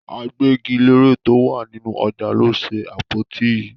Agbẹ́gilére tó wà nínú ọjà ló ṣe àpótí yìí.